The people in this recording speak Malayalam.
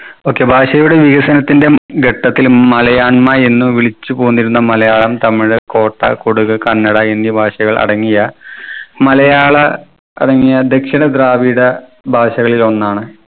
okay ഭാഷയുടെ വികസനത്തിന്റെ ഘട്ടത്തിൽ മലയാണ്മ എന്ന് വിളിച്ചുപോന്നിരുന്ന മലയാളം തമിഴ് കോട്ട കൊടുക് കന്നഡ എന്നീ ഭാഷകൾ അടങ്ങിയ മലയാള അടങ്ങിയ ദക്ഷിണ ദ്രാവിഡ ഭാഷകളിൽ ഒന്നാണ്